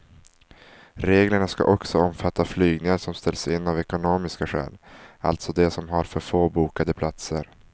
Reglerna ska också omfatta flygningar som ställs in av ekonomiska skäl, alltså de som har för få bokade platser.